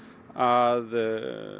að